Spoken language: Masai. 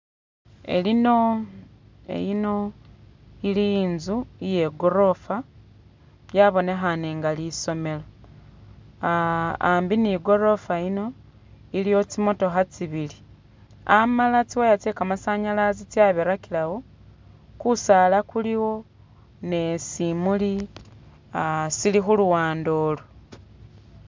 Elino eyino ili inzu iye gorofa yabonekhane nga lisomelo, hambi ni gorofa yino iliwo tsi mootokha tsibili amala tsi wire tse ka masanyalaze tsya birakilawo, kusaala kuliwo ne simuli sili khu luwande olu.